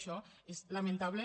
això és lamentable